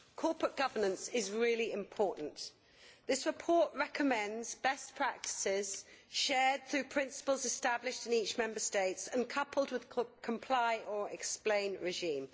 Corporate governance is really important. This report recommends best practices shared through principles established in each Member State and coupled with a comply or explain' regime.